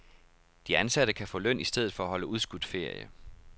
De ansatte kan få løn i stedet for at holde udskudt ferie.